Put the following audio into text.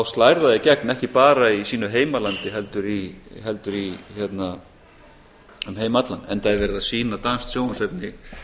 slær það í gegn ekki bara í sínu heimalandi heldur um heim allan enda er verið að sýna danskt sjónvarpsefni